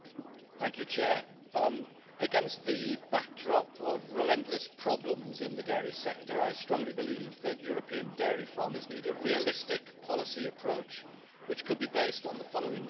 Madam President, against the backdrop of relentless problems in the dairy sector, I strongly believe that European dairy farmers need a realistic policy approach which could be based on the following four pillars.